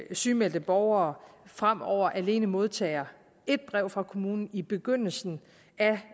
sygemeldte borgere fremover alene modtager et brev fra kommunen i begyndelsen